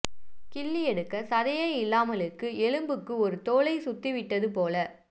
கிள்ளி எடுக்கச் சதையே இல்லாமலுக்கு எலும்புக்கு ஒரு தோலைச் சுத்திவிட்டது போல